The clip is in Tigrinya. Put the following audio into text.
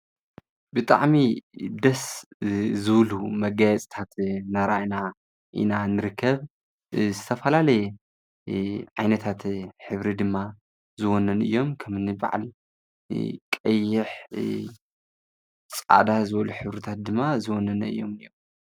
ብጣዕሚ ደስ ዝብሉ መጋየፅታት እናርኣና ኢና ንርከብ ዝተፈላለየ ዓይነታት ሕብሪ ድማ ዝወነኑ እዮም ከም'ኒ በዓል ቀይሕ ፣ፃዕዳ ዝበሉ ሕብርታት ድማ ዝወነኑ እዮም ።